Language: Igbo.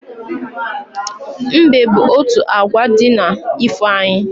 Mbe bụ otu agwa di n'ifo anyị